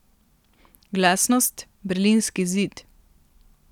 Glasnost, berlinski zid.